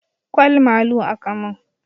Ƙwal malu aka mun